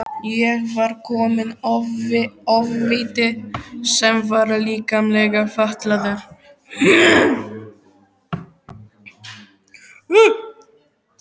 Hér var kominn ofviti sem var líkamlega fatlaður.